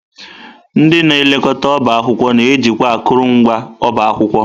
Ndị na elekọta ọbá akwụkwọ na-ejikwa akụrụngwa ọba akwụkwọ.